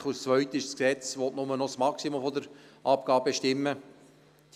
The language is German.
Die zweite Massnahme ist, dass das Gesetz nur noch das Maximum der Abgabe bestimmen soll.